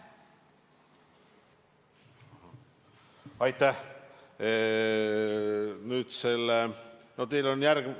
Aitäh!